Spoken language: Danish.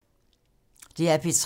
DR P3